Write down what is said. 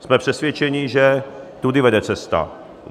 Jsme přesvědčeni, že tudy vede cesta.